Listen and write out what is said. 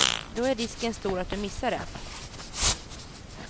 Då är risken stor att du missar det.